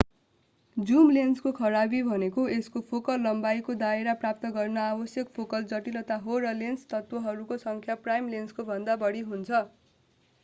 zoom लेन्सको खराबी भनेको यसको फोकल लम्बाईको दायरा प्राप्त गर्न आवश्यक फोकल जटिलता हो र लेन्स तत्वहरूको सङ्ख्या प्राइम लेन्सकोभन्दा बढी हुन्छ